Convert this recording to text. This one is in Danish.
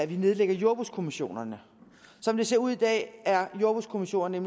vi nedlægger jordbrugskommissionerne som det ser ud i dag er jordbrugskommissionerne